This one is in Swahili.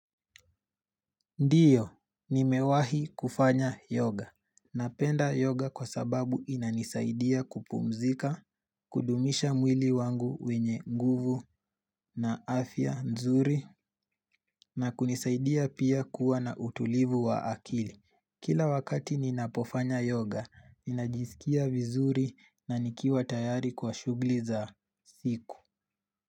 Ndiyo, nimewahi kufanya yoga. Napenda yoga kwa sababu inanisaidia kupumzika, kudumisha mwili wangu wenye nguvu na afya nzuri, na kunisaidia pia kuwa na utulivu wa akili. Kila wakati ninapofanya yoga, inajisikia vizuri na nikiwa tayari kwa shugli za siku.